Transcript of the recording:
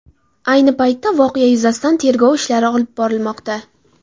Ayni paytda voqea yuzasidan tergov ishlari olib borilmoqda.